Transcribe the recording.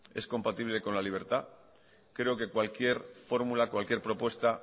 es compatible con la libertad creo que cualquier fórmula cualquier propuesta